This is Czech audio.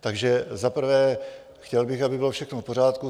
Takže za prvé, chtěl bych, aby bylo všechno v pořádku.